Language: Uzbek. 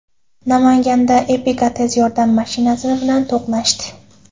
Namanganda Epica tez tibbiy yordam mashinasini bilan to‘qnashdi.